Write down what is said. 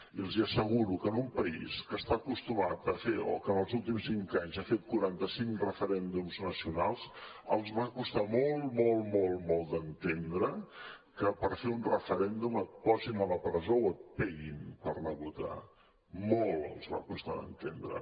i els asseguro que en un país que està acostumat a fer o que en els últims cinc anys ha fet quaranta cinc referèndums nacionals els va costar molt molt molt d’entendre que per fer un referèndum et posin a la presó o et peguin per anar a votar molt els va costar d’entendre